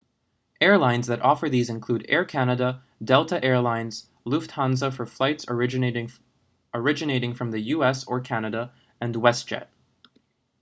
airlines that offer these include air canada delta air lines lufthansa for flights originating from the u.s. or canada and westjet